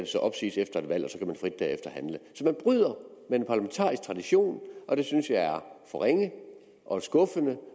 så opsiges efter et valg og frit derefter handle så man bryder med en parlamentarisk tradition og det synes jeg er for ringe og skuffende